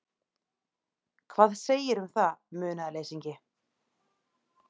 Hvað segirðu um það, munaðarleysingi?